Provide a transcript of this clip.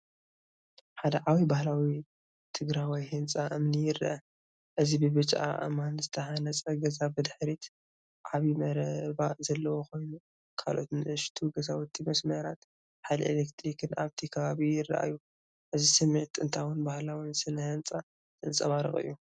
ሓደ ዓብዪ፣ ባህላዊ ትግራዋይ ህንፃ እምኒ ይረአ። እዚ ብብጫ ኣእማን ዝተሃንጸ ገዛ፡ ብድሕሪት ዓቢ መረባ ዘለዎ ኮይኑ፡ ካልኦት ንኣሽቱ ገዛውትን መስመራት ሓይሊ ኤሌክትሪክን ኣብቲ ከባቢ ይረኣዩ። እዚ ስምዒት ጥንታውን ባህላውን ስነ ህንጻ ዘንጸባርቕ እዩ።